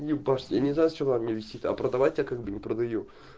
не парься я не знаю с чего она у меня висит а продавать я как бы не продаю